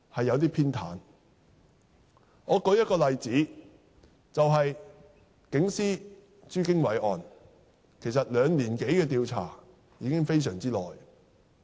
讓我舉一個例子，就警司朱經緯一案，其實兩年多的調查已是很長時間。